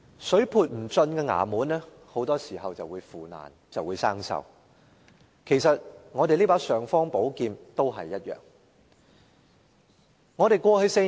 水潑不進的衙門很多時候便會腐爛和生鏽，其實立法會這柄"尚方寶劍"也一樣。